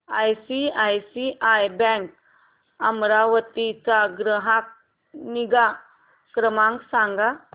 ICICI bank Amravati चा ग्राहक निगा क्रमांक सांगा